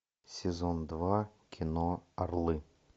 сезон два кино орлы